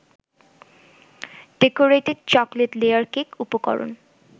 decorated chocolate layer cake উপরকরণ